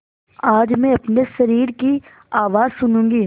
आज मैं अपने शरीर की आवाज़ सुनूँगी